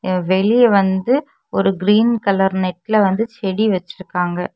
வெளிய வந்து ஒரு கிரீன் கலர் நெட்ல வந்து செடி வச்சிருக்காங்க.